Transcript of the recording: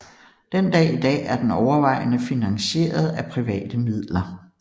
Den dag i dag er den overvejende finanseiret af private midler